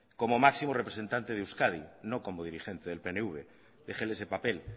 como máximo representante de euskadi no como dirigente del pnv déjele ese papel